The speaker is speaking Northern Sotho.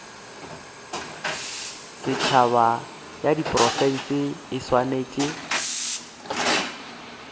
setšhaba ya diprofense e swanetše